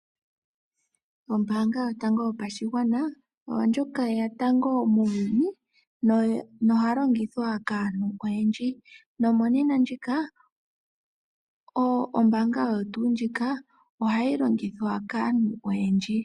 Ombaanga yotango yopashigwana oyo yeya tango muuyuni noyalongithwa kaantu oyendji. Nomonena ombaanga oyo tuu ndjika ohayi longithwa kaantu oyendji.